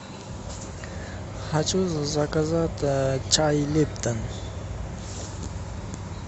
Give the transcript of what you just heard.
хочу заказать чай липтон